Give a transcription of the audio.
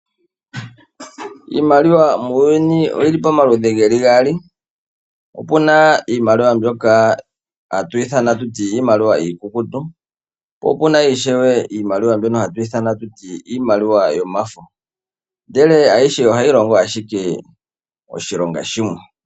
Iimaliwa muuyuni oyili pa maludhi geli gaali ,opena iimaliwa mbyoka hatu yi ithana iimaliwa iikukutu po opena ishewe mbyoka hatu ithana kutya iimaliwa yomafo , ndele ayishe ohayi longo ashike oshilonga shimwe